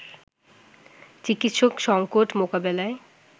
চিকিৎসক সংকট মোকাবেলায়